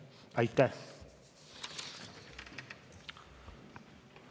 Aitäh!